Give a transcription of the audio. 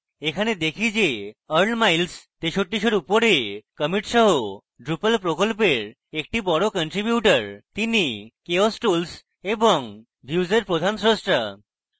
এখানে দেখি যে earl miles 6300 এর উপরে commits সহ drupal প্রকল্পের একজন বড় কনট্রিবিউটর তিনি chaos tools এবং views এর প্রধান স্রষ্টা